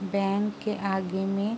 bank के आगे में --